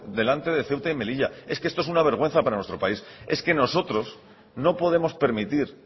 delante de ceuta y melilla es que esto es una vergüenza para nuestro país es que nosotros no podemos permitir